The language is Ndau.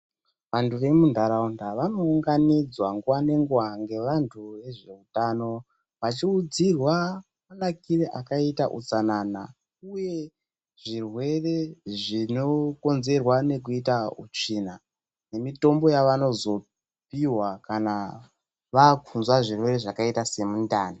Antu emunharaunda vanounganidzwa nguva nenguva ngevantu nezveutano vachiudzirwa manakire akaita utsanana uye zvirwere zvinokonzerwa nekuita utsvina, nemitombo yavanozopihwa kana vaakunzwa zvirwere zvakaita semundani.